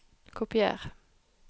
Kopier